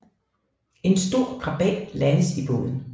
En stor krabat landes i båden